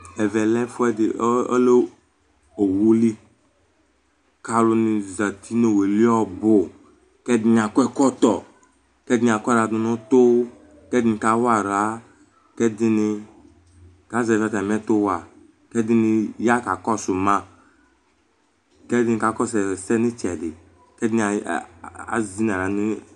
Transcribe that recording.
Ɛvɛ lɛ owuli Aluŋi zɛti ŋu owueli ɔbu kʋ ɛɖìní akɔ ɛkɔtɔ Ɛɖìní akɔ aɣla ɖʋŋʋ ʋtu Ɛɖìní kawa aɣla Ɛɖìní kazɛvi atami ɛtu wa Ɛɖìní ɣa kakɔsu ma Ɛɖìní kakɔsu ɛsɛ ŋu itsɛɖi